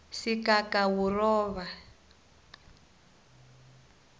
sigagawuroba